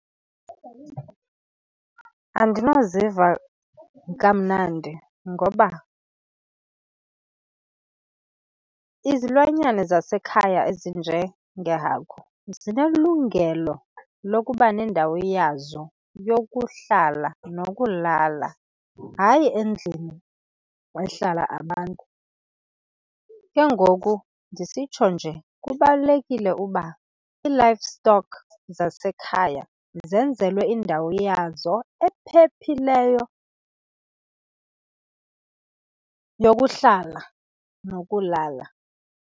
Andinoziva kamnandi, ngoba izilwanyana zasekhaya ezinjengeehagu zinelungelo lokuba nendawo yazo yokuhlala nokulala, hayi endlini wehlala abantu. Ke ngoku ndisitsho nje kubalulekile ukuba ii-livestock zasekhaya zenzelwe indawo yazo ephephileyo yokuhlala nokulala.